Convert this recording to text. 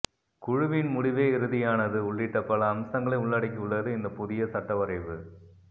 குழுவின் முடிவே இறுதியானது உள்ளிட்ட பல அம்சங்களை உள்ளடக்கியுள்ளது இந்த புதிய சட்ட வரைவு